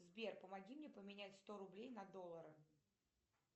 сбер помоги мне поменять сто рублей на доллары